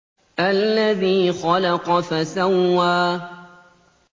الَّذِي خَلَقَ فَسَوَّىٰ